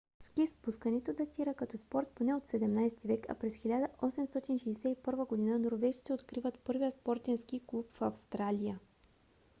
ски спускането датира като спорт поне от 17 век а през 1861 г. норвежци откриват първия спортен ски клуб в австралия